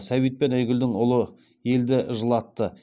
сәбит пен айгүлдің ұлы елді жылатты